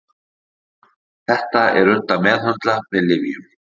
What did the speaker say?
Þetta er unnt að meðhöndla með lyfjum.